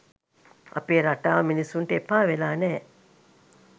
අපේ රටාව මිනිසුන්ට එපාවෙලා නෑ